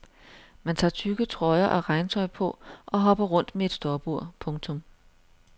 Man tager tykke trøjer og regntøj på og hopper rundt med et stopur. punktum